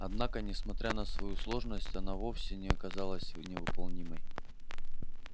однако несмотря на свою сложность она вовсе не казалась невыполнимой